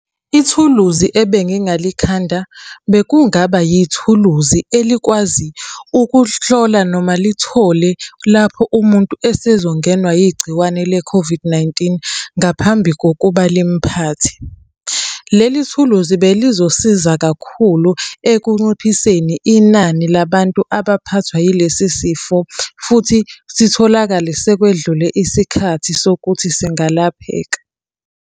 Ithuluzi ebengingalikhanda, bekungaba yithuluzi elikwazi ukuhlola noma lithole lapho umuntu esezongenwa yigciwane le-COVID-19, ngaphambi kokuba limuphathe. Leli thuluzi belizosiza kakhulu ekunciphiseni inani labantu abaphathwa yilesi sifo, futhi sitholakale sekwedlule isikhathi sokuthi singalapheka.